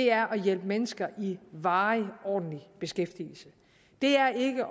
er at hjælpe mennesker i varig ordentlig beskæftigelse det er ikke